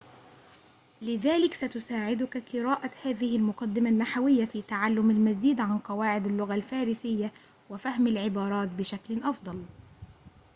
لذلك ستساعدك قراءة هذه المقدمة النحوية في تعلم المزيد عن قواعد اللغة الفارسية وفهم العبارات بشكل أفضل